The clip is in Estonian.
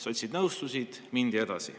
Sotsid nõustusid ja mindi edasi.